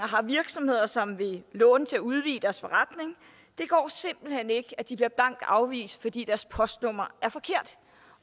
har virksomheder som vil låne til at udvide deres forretning det går simpelt hen ikke at de bliver blankt afvist fordi deres postnummer er forkert